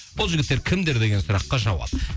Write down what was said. бұл жігіттер кімдер деген сұраққа жауап